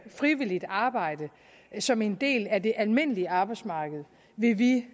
frivilligt arbejde som en del af det almindelige arbejdsmarked vil vi